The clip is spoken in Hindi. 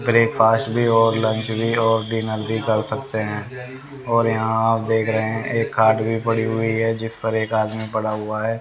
ब्रेकफास्ट भी और लंच भी और डिनर भी कर सकते हैं और यहां आप देख रहे है एक खाट भी पड़ी हुई है जिसपर एक आदमी पड़ा हुआ है।